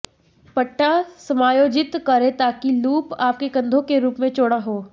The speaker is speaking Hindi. पट्टा समायोजित करें ताकि लूप आपके कंधों के रूप में चौड़ा हो